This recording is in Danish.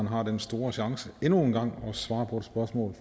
har den store chance endnu en gang at svare på et spørgsmål